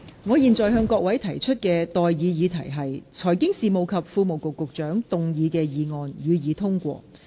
我現在向各位提出的待議議題是：財經事務及庫務局局長動議的議案，予以通過。